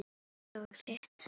Mitt og þitt.